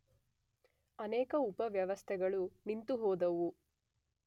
ಅನೇಕ ಉಪ ವ್ಯವಸ್ಥೆಗಳು ನಿಂತುಹೋದವು.